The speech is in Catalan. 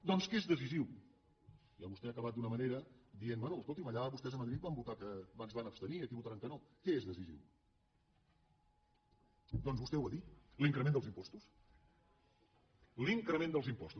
doncs què és decisiu vostè ha acabat d’una manera dient bé escolti’m allà vostès a madrid es van abstenir i aquí votaran que no què és decisiu doncs vostè ho ha dit l’increment dels impostos l’increment dels impostos